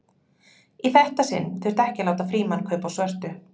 Í þetta sinn þyrfti ekki að láta Frímann kaupa á svörtu.